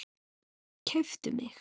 Keyptu mig?